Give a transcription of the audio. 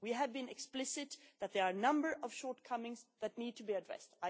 We have been explicit that there are a number of shortcomings that need to be addressed.